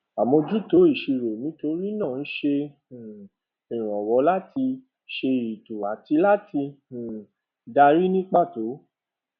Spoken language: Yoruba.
àmójútó ìṣirò nítorí náà ń ṣe um ìrànwọ láti ṣe ètò àti láti um darí ní pàtó